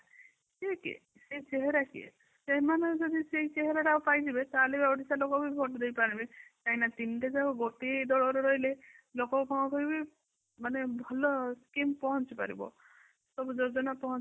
ଠିକ ଅଛି ସେ ଚେହେରା କିଏ ? ସେମାନେ ଯଦି ସେଇ ଚେହେରାଟାକୂ ପାଇଯିବେ ତାହାଲେ ଓଡିଶା ଲୋକ ବି ଭୋଟ ଦେଇପାରିବେ କାଇଁ ନା ତିନିଟା ଜକ ଗୋଟିଏ ଦଳ ରେ ହିନ ରହିଲେ ଲୋକ କଣ କହିବେ ମାନେ କେମିତି କଣ ପହଞ୍ଚି ପାରିବ ସବୁ ଯୋଜନା ପହଞ୍ଚି ପାରିବ